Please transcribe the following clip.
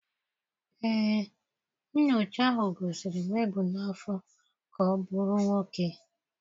Ee, nyocha ahụ gosiri nwa ebu n'afọ ka ọ bụrụ nwoke